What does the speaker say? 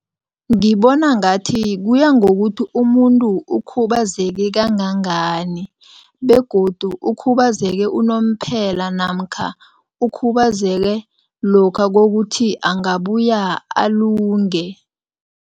Ngibona ngathi kuya ngokuthi umuntu ukhubazeke kangangani begodu ukhubazeke unomphela namkha ukhubazeke lokha kokuthi angabuya alunge.